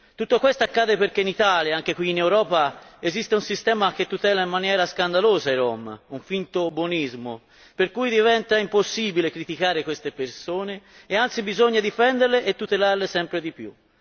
Tutto ciò accade perché in Italia anche qui in Europa esiste un sistema che tutela in maniera scandalosa i rom, con finto buonismo, per cui diventa impossibile criticare queste persone e anzi bisogna difenderle e tutelarle sempre di più.